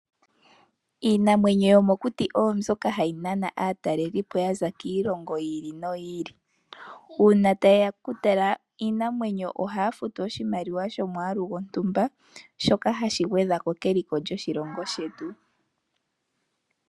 Iinamwenyo yomokuti oyo mbyoka hayi nana aatalelipo ya za kiilongo yiili no yiili uuna taye ya okutala iinanwenyo ohaya futu oshimaliwa shomwaalu gwontumba shoka hashi gwedhako keliko lyoshilongo shetu.